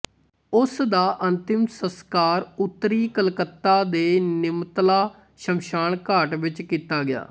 ਉਸ ਦਾ ਅੰਤਿਮ ਸੰਸਕਾਰ ਉੱਤਰੀ ਕਲਕੱਤਾ ਦੇ ਨਿਮਤਲਾ ਸ਼ਮਸ਼ਾਨ ਘਾਟ ਵਿੱਚ ਕੀਤਾ ਗਿਆ